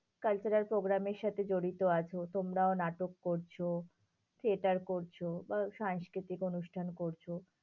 Cultural programme এর সাথে জড়িত আছো। তোমরাও নাটক করছো। theatre করছো, বা সাংস্কৃতিক অনুষ্ঠান করছো,